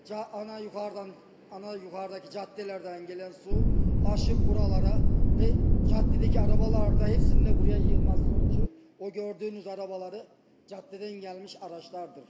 Ana yuxardan, ana yuxarıdakı caddələrdən gələn su aşıb buralara və caddədəki arabalarda hepsində buraya yığmaz sonucu o gördüyünüz arabaları caddədən gəlmiş araçlardır.